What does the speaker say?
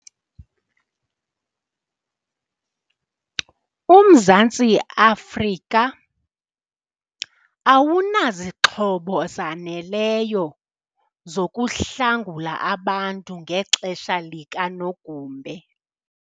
UMzantsi Afrika awunazixhobo zaneleyo zokuhlangula abantu ngexesha likanogumbe.